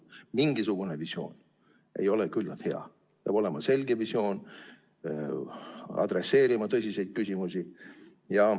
Mingisugune visioon ei ole küllalt hea, peab olema selge visioon, peab adresseerima tõsiseid küsimusi.